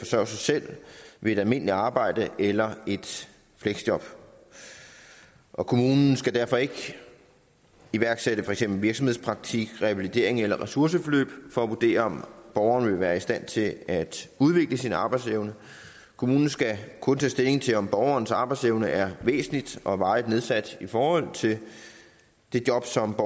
sig selv ved et almindeligt arbejde eller et fleksjob og kommunen skal derfor ikke iværksætte for eksempel virksomhedspraktik revalidering eller ressourceforløb for at vurdere om borgeren vil være i stand til at udvikle sin arbejdsevne kommunen skal kun tage stilling til om borgerens arbejdsevne er væsentligt og varigt nedsat i forhold til job som